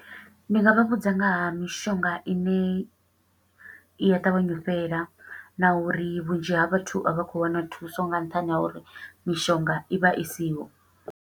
Ndi nga vha vhudza nga ha mishonga i ne i a ṱavhanya u fhela, na uri vhunzhi ha vhathu a vha khou wana thuso, nga nṱhani ha uri mishonga i vha i siho.